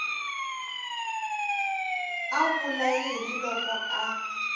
a vula yini loko a